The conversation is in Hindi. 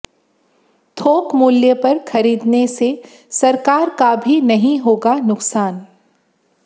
थोक मूल्य पर खरीदने से सरकार का भी नहीं होगा नुकसान